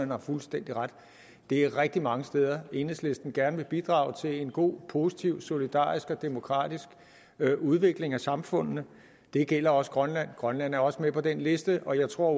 har fuldstændig ret der er rigtig mange steder enhedslisten gerne vil bidrage til en god positiv solidarisk og demokratisk udvikling af samfundene det gælder også grønland grønland er også med på den liste og jeg tror at